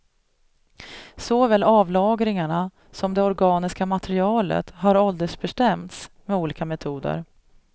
Såväl avlagringarna som det organiska materialet har åldersbestämts med olika metoder.